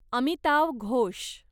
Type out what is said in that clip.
Amitav Ghosh